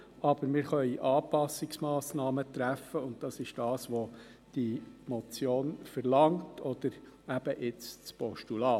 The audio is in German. Aber wir können Anpassungsmassnahmen treffen, und das verlangt diese Motion oder jetzt eben das Postulat.